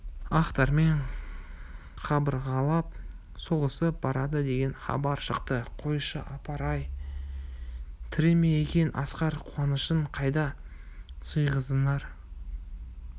ақтармен қабырғалап соғысып барады деген хабар шықты қойшы апыр-ай тірі ме екен асқар қуанышын қайда сыйғызарын